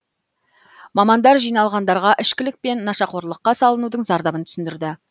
мамандар жиналғандарға ішкілік пен нашақорлыққа салынудың зардабын түсіндірді